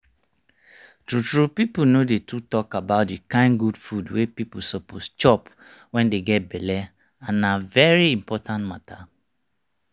true true people no dey too talk about the kind good food wey people suppose chop wen dey get belle and na very important matter